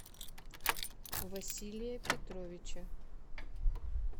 василия петровича